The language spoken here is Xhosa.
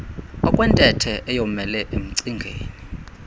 okwentethe eyomele emcingeni